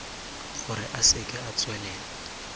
gore a seke a tswelela